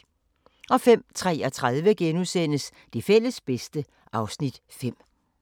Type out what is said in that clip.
05:33: Det fælles bedste (Afs. 5)*